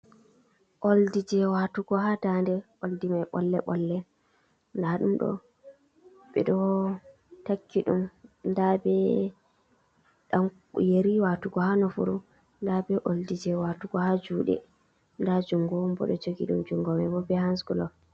Oldi je waatugo haa ndaande. Oldi mai ɓolle- ɓolle. Ndaɗumɗo ɓe ɗo takki ɗum, nda be ɗan yeri waatugo haa nofuru, nda be oldi je waatugo haa juuɗe, nda jungo bo ɗo jogi ɗum, jungo mai bo be hansglof.